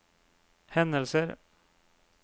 hendelser